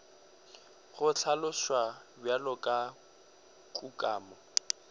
go hlaloswa bjalo ka kukamo